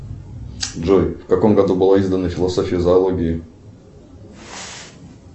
джой в каком году была издана философия зоологии